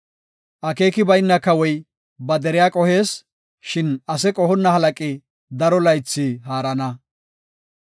Akeeki bayna kawoy ba deriya qohees; shin ase qohonna halaqi daro laythi haarana.